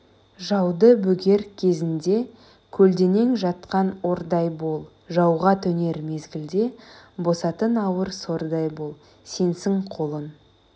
жауды бөгер кезінде көлденең жатқан ордай бол жауға төнер мезгілде басатын ауыр сордай бол сенсің қолың